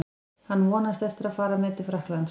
Hann vonast eftir að fara með til Frakklands.